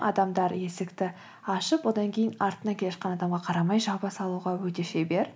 адамдар есікті ашып одан кейін артында келе жатқан адамға қарамай жаба салуға өте шебер